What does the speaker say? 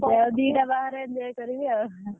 ଦିଟା ବାହାଘର enjoy କରିବି ଆଉ।